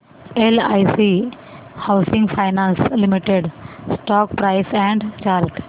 LIC housing finance limited stock price and chart